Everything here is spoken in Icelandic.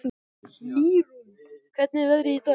Mýrún, hvernig er veðrið í dag?